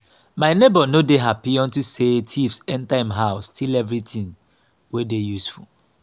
my neighbour no dey happy unto say thieves enter im house steal everything wey dey useful